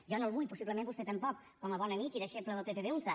jo no en vull possiblement vostè tampoc com a bon amic i deixeble de pepe beunza